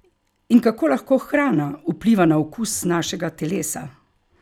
In kako lahko hrana vpliva na okus našega telesa?